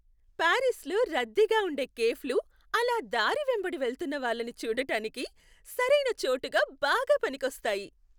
పారిస్లో రద్దీగా ఉండే కేఫ్లు అలా దారి వెంబడి వెళ్తున్న వాళ్ళని చూడటానికి సరైన చోటుగా బాగా పనికొస్తాయి.